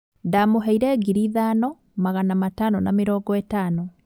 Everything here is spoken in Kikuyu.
Ndamũheire ngiri ithano magana matano na mĩrongo ĩtano